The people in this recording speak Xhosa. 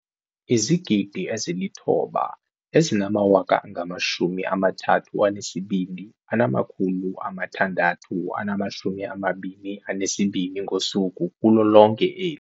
9 032 622 ngosuku kulo lonke eli.